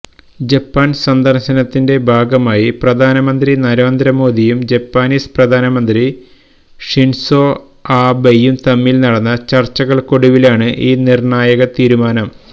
ജപ്പാന് സന്ദര്ശനത്തിന്റെ ഭാഗമായി പ്രധാനമന്ത്രി നരേന്ദ്രമോദിയും ജാപ്പനീസ് പ്രധാനമന്ത്രി ഷിന്സോ ആബെയും തമ്മില് നടന്ന ചര്ച്ചകള്ക്കൊടുവിലാണ് ഈ നിര്ണായക തീരുമാനം